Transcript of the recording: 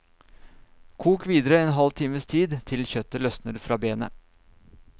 Kok videre en halv times tid, til kjøttet løsner fra benet.